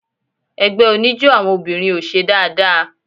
Ẹgbẹ́ oníjó àwọn obìnrin ò ṣe dáadáa.